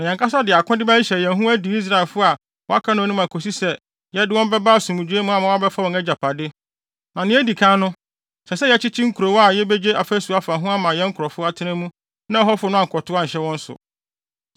Na yɛn ankasa de akode bɛhyehyɛ yɛn ho adi Israelfo a wɔaka no anim akosi sɛ yɛde wɔn bɛba asomdwoe mu ama wɔabɛfa wɔn agyapade. Na nea edi kan no, ɛsɛ sɛ yɛkyekye nkurow a yebegye afasu afa ho ama yɛn nkurɔfo atena mu na ɛhɔfo no ankɔtow anhyɛ wɔn so.